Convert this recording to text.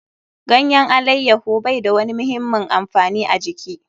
Ganyen alaiyaho bai da wani muhimmin amfani a jiki.